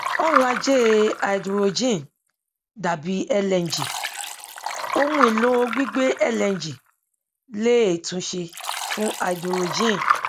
ọrọ ajé háídírójìn dàbi lng ohun èlò gbígbé lng léè tún ṣe fún háídírójìn